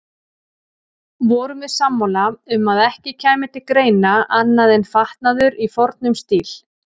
Vorum við sammála um að ekki kæmi til greina annað en fatnaður í fornum stíl.